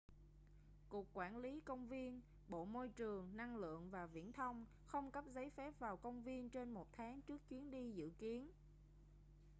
cục quản lý công viên bộ môi trường năng lượng và viễn thông không cấp giấy phép vào công viên trên một tháng trước chuyến đi dự kiến